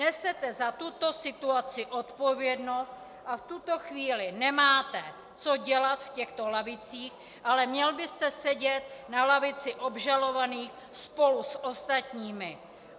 Nesete za tuto situaci odpovědnost a v tuto chvíli nemáte co dělat v těchto lavicích, ale měl byste sedět na lavici obžalovaných spolu s ostatními.